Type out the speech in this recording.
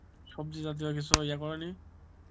সব্জি জাতীয় কিছু ইয়া করো নি?